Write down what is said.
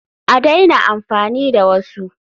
A daina amfani da wasu!